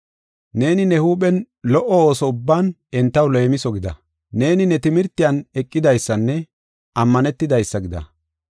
Neeni ne huuphen lo77o ooso ubban entaw leemiso gida. Neeni ne timirtiyan eqidaysanne ammanetidaysa gida.